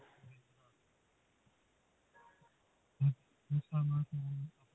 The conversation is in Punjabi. ਇਸ ਹਿਸ਼ਾਬ ਨਾਲ ਤੁਹਾਨੂੰ